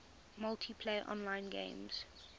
multiplayer online games